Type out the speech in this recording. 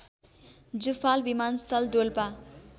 जुफाल विमानस्थल डोल्पा